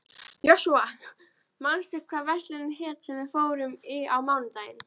Jósúa, manstu hvað verslunin hét sem við fórum í á mánudaginn?